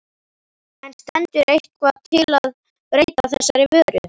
En stendur eitthvað til að breyta þessari vöru?